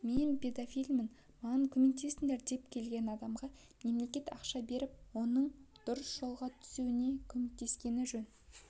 мен педофилмін маған көмектесіңдер деп келген адамға мемлекет ақша беріп оның дұрыс жолға түсуіне көмектескені жөн